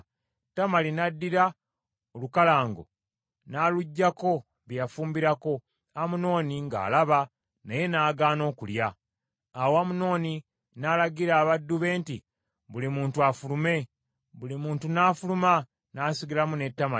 Tamali n’addira olukalango, n’aluggyako bye yafumbirako, Amunoni ng’alaba naye n’agaana okulya. Awo Amunoni n’alagira abaddu be nti, “Buli muntu afulume.” Buli muntu n’afuluma, n’asigalamu ne Tamali.